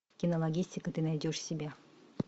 кинологистика ты найдешь себе